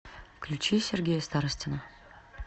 включи сергея старостина